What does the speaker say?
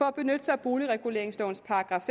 at benytte sig af boligreguleringslovens §